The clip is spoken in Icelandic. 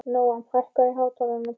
Nóam, hækkaðu í hátalaranum.